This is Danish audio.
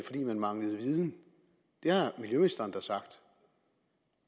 fordi man manglede viden det har miljøministeren da sagt